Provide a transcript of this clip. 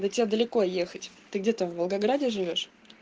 до тебя далеко ехать ты где-то в волгограде живёшь